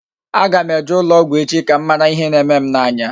A ga m eje ụlọ ọgwụ echi ka m mara ihe na-eme m n'anya